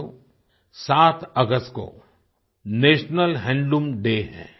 साथियो 7 अगस्त को नेशनल हैंडलूम डे है